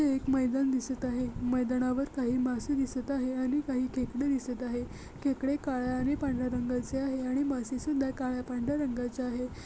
एक मैदान दिसत आहे मैदानावर काही मासे दिसत आहे आणि काही खेकडे दिसत आहे खेकडे काळ्या आणि पांढर्‍या रंगाचे आहे आणि मासे सुद्धा काळ्या पांढर्‍या रंगाचे आहे.